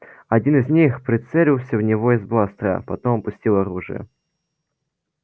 один из них прицелился в него из бластера потом опустил оружие